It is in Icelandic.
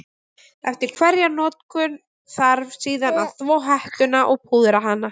Eftir hverja notkun þarf síðan að þvo hettuna og púðra hana.